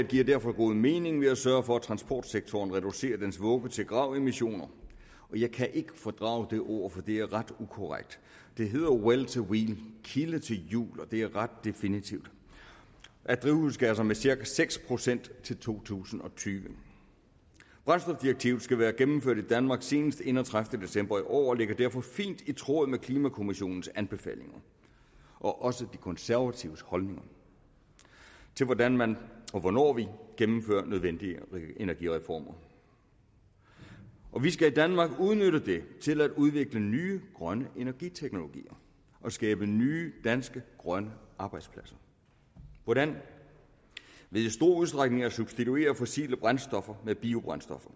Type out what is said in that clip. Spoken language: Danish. giver derfor god mening ved at sørge for at transportsektoren reducerer dens vugge til grav emissioner jeg kan ikke fordrage det ord for det er ret ukorrekt det hedder well to wheel kilde til hjul og det er ret definitivt af drivhusgasser med cirka seks procent til to tusind og tyve brændstofdirektivet skal være gennemført i danmark senest den enogtredivete december i år og ligger derfor i fint i tråd med klimakommissionens anbefalinger og også med de konservatives holdninger til hvordan man og hvornår man gennemfører nødvendige energireformer vi skal i danmark udnytte det til at udvikle nye grønne energiteknologier og skabe nye danske grønne arbejdspladser hvordan ved i stor udstrækning at substituere fossile brændstoffer med biobrændstoffer